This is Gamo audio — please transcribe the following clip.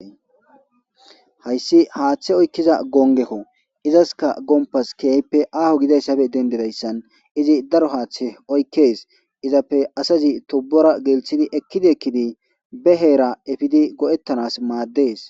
hayssi haaththe oykkiza gongekko izaska gompas keeyppe aaho gidayssafe dendedayssan izi daro haaththe oykkes izappe asazi tobora gelthidi ekkidi ekkidi beheera efidi go7ettanas maaddees